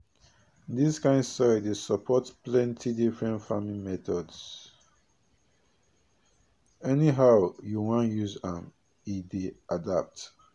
dis kind soil dey support plenty different farming methodsanyhow you wan use am e dey adapt